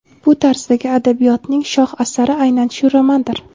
bu tarzdagi adabiyotning shoh asari aynan shu romandir.